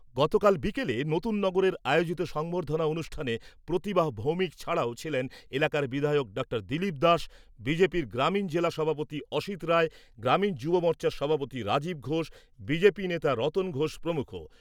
গতকাল বিকেলে নতুন নগরের আয়োজিত সংবর্ধনা অনুষ্ঠানে প্রতিমা ভৌমিক ছাড়াও ছিলেন এলাকার বিধায়ক ডক্টর দিলীপ দাস, বিজেপির গ্রামীণ জেলা সভাপতি অসিত রায়, গ্রামীণ যুব মোর্চার সভাপতি রাজীব ঘোষ, বিজেপি নেতা রতন ঘোষ প্রমুখ।